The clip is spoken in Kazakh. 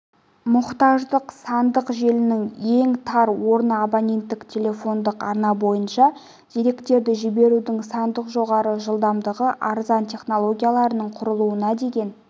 мұқтаждық сандық желінің ең тар орны абоненттік телефондық арна бойынша деректерді жіберудің сандық жоғары жылдамдықты арзан технологияларының құрылуына деген